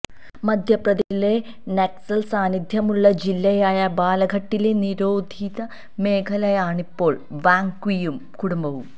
മധ്യപ്രദേശിലെ നക്സല് സാന്നിധ്യമുള്ള ജില്ലയായ ബാലഘട്ടിലെ തിരോധി മേഖലയാണിപ്പോള് വാങ് ക്വിയും കുടുംബവും